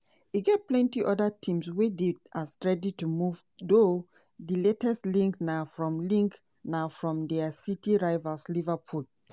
e get plenty oda teams wey dey as ready to move though di latest link na from link na from dia city rivals liverpool.